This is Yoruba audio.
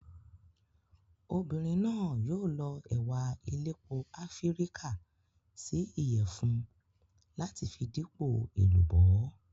Obìnrin náà yóò lọ ẹ̀wà elépo Áfíríkà sí Ìyẹ̀fun láti fi dípò èlùbọ́.